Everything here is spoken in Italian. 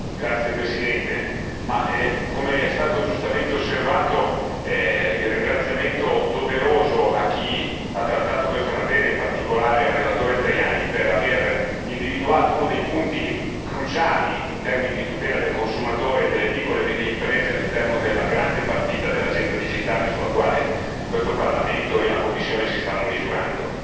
Signora Presidente, onorevoli colleghi, come è stato giustamente osservato occorre rivolgere un ringraziamento doveroso a chi ha trattato questa materia e in particolare al relatore Tajani per aver individuato uno dei punti cruciali in termini di tutela del consumatore delle piccole e medie imprese all'interno della grande partita dell'Agenda digitale sulla quale questo Parlamento e la Commissione si stanno misurando.